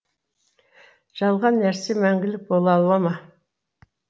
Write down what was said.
жалған нәрсе мәңгілік бола алама